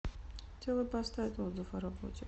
хотела поставить отзыв о работе